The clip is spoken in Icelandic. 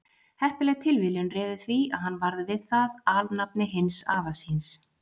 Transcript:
Heppileg tilviljun réði því að hann varð við það alnafni hins afa síns.